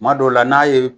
Kuma dɔw la n'a ye